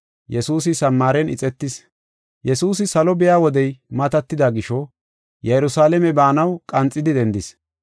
Yesuusi salo biya wodey matatida gisho, Yerusalaame baanaw qanxidi dendis.